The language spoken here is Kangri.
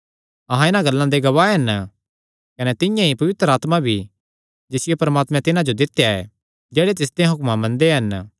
अहां इन्हां गल्लां दे गवाह हन कने तिंआं ई पवित्र आत्मा भी जिसियो परमात्मैं तिन्हां जो दित्या ऐ जेह्ड़े तिसदेयां हुक्मां मनदे हन